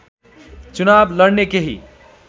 चुनाव लड्ने केही